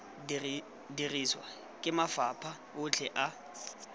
dirisiwa ke mafapha otlhe a